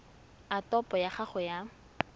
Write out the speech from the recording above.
a topo ya gago ya